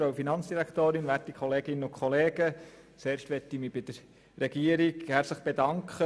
Zuerst möchte ich mich bei der Regierung für die Antwort herzlich bedanken.